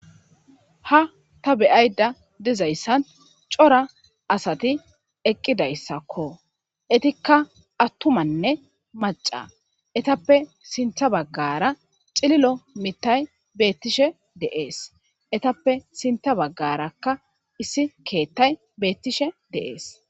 Ha ta beayida dizayisan co'ra asati eqidaysa etika atumanne mac'a etappe sinta bagara ci'lilo mithayi betishe dee's etappe sinta bagaraka issi kethayi betishe dee's